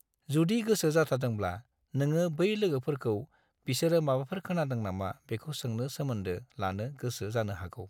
जुदि गोसो जाथारदोंब्ला, नोङो बै लोगोफोरखौ बिसोरो माबाफोर खोनादों नामा बेखौ सोंनो सोमोन्दो लानो गोसो जानो हागौ।